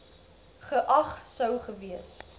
geag sou gewees